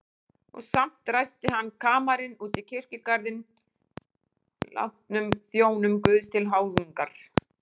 Og samt ræsti hann kamarinn út í kirkjugarðinn látnum þjónum Guðs til háðungar.